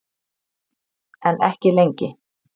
En ekki lengi.